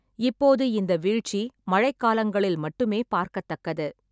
இப்போது இந்த வீழ்ச்சி மழைக்காலங்களில் மட்டுமே பார்க்கத்தக்கது.